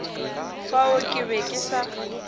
fao ke be ke sa